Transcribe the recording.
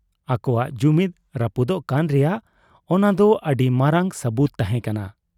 ᱟᱠᱚᱣᱟᱜ ᱡᱩᱢᱤᱫ ᱨᱟᱹᱯᱩᱫᱚᱜ ᱠᱟᱱ ᱨᱮᱭᱟᱜ ᱚᱱᱟᱫᱚ ᱟᱹᱰᱤ ᱢᱟᱨᱟᱝ ᱥᱟᱹᱵᱩᱛ ᱛᱟᱦᱮᱸ ᱠᱟᱱᱟ ᱾